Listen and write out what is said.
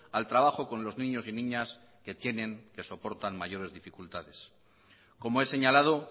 al trabajo con los niños y niñas que tienen que soportan mayores dificultades como he señalado